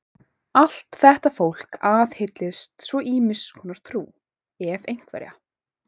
Allt þetta fólk aðhyllist svo ýmiss konar trú, ef einhverja.